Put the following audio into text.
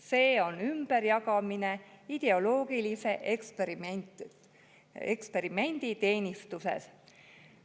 See on ümberjagamine ideoloogilise eksperimendi teenistuses.